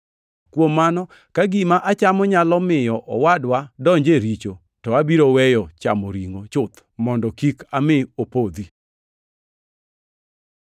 Kuom mano, ka gima achamo nyalo miyo wadwa donjo e richo, to abiro weyo chamo ringʼo chuth mondo kik ami opodhi.